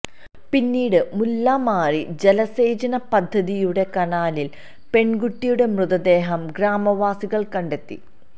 പിന്നീട് മുല്ലമാരി ജലസേചന പദ്ധതിയുടെ കനാലില് പെണ്കുട്ടിയുടെ മൃതദേഹം ഗ്രാമവാസികള് കണ്ടെത്തി